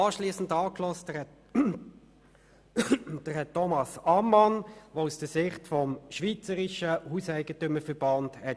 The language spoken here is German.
Anschliessend haben wir Herrn Thomas Amman angehört, der die Sicht des Schweizerischen HEV vertreten hat.